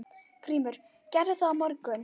GRÍMUR: Gerði það í morgun!